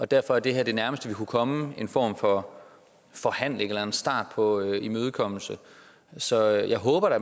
derfor er det her det nærmeste vi kunne komme en form for forhandling eller en start på en imødekommelse så jeg håber da